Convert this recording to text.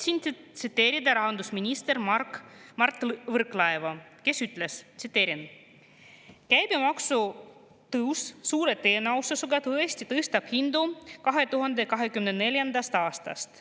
Soovin tsiteerida rahandusminister Mark Võrklaeva, kes ütles: "Käibemaksu tõus suure tõenäosusega tõesti tõstab hindu 2024. aastast.